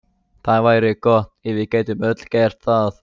Það væri gott ef við gætum öll gert það.